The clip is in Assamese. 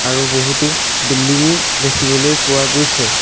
আৰু বহুতো বিল্ডিঙ ও দেখিবলৈ পোৱা গৈছে।